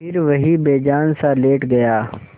फिर वहीं बेजानसा लेट गया